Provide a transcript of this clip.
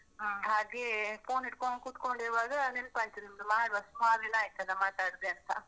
phone ಹಿಡ್ಕೊಂಡ್ ಕೂತ್ಕೊಂಡಿರುವಾಗ ನೆನ್ಪ್ ಆಯ್ತ್ ನಿಮ್ದು, ಮಾಡ್ವ ಸುಮಾರ್ ದಿನ ಆಯ್ತಲ್ವಾ ಮಾತಾಡ್ದೇ ಅಂತ.